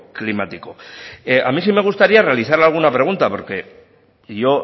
climático a mí sí me gustaría realizarle alguna pregunta porque yo